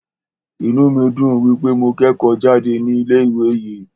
Inú mí dùn wípé mo kẹ́kọ̀ọ́ jáde ní ilé ìwé yìí.